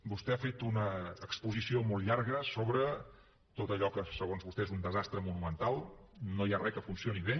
vostè ha fet una exposició molt llarga sobre tot allò que segons vostè és un desastre monumental no hi ha re que funcioni bé